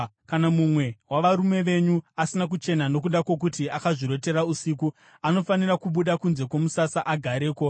Kana mumwe wavarume venyu asina kuchena nokuda kwokuti akazvirotera usiku, anofanira kubuda kunze kwomusasa agareko.